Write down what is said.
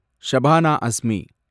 Shabana Asmi